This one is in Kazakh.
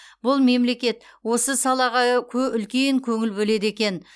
бұл мемлекет осы салаға үлкен көңіл бөледі екен